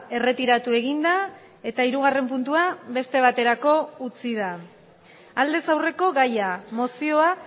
erretiratu eginda eta hirugarren puntua beste baterako utzi da aldez aurreko gaia mozioa